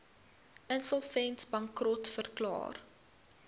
insolvent bankrot verklaar